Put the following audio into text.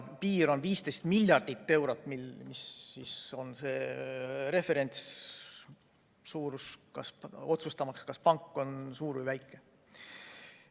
Piir on 15 miljardit eurot, see on referentssuurus otsustamaks, kas pank on suur või väike.